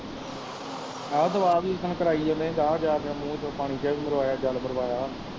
ਹੈ ਤੇ ਉਹ ਆਪ ਇਕ ਦਿਨ ਕਰਾਈ ਜਾਂਦੇ ਜਾ ਜਾ ਕੇ ਮੂੰਹ ਵਿਚੋਂ ਪਾਣੀ ਜਾ ਵੀ ਮਰਵਾਇਆ ਜਲ ਮਰਵਾਇਆ